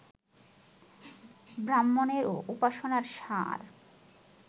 ব্রাহ্মণ্যের ও উপাসনার সার